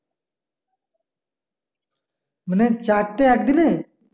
মানে চারটে একদিনে?